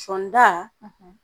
Sɔɔnida